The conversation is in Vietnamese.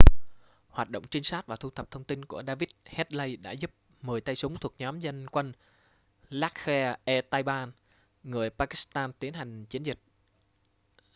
hoạt động trinh sát và thu thập thông tin của david headley đã giúp 10 tay súng thuộc nhóm dân quân laskhar-e-taiba người pakistan tiến hành chiến dịch